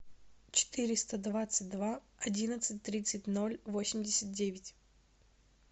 четыреста двадцать два одиннадцать тридцать ноль восемьдесят девять